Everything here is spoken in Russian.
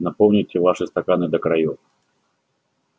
наполните ваши стаканы до краёв